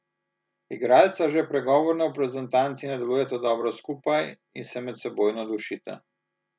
Igralca že pregovorno v reprezentanci ne delujeta dobro skupaj in se medsebojno dušita.